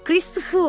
Kristofer!